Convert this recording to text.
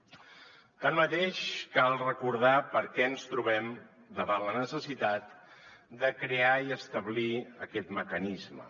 tanmateix cal recordar per què ens trobem davant la necessitat de crear i establir aquest mecanisme